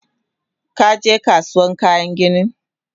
Kaje Kasuwan kayan ginin?